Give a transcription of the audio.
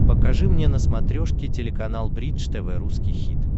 покажи мне на смотрешке телеканал бридж тв русский хит